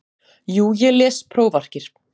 Jú ég les prófarkir.